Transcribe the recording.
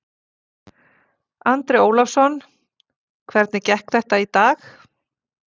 Andri Ólafsson: Hvernig gekk þetta í dag?